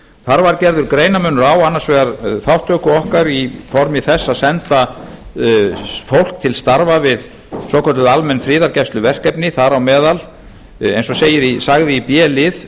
þar var gerður greinarmunur á annars vegar þátttöku okkar í formi þess að senda fólk til starfa við svokölluð almenn friðargæsluverkefni þar á meðal eins og sagði í b lið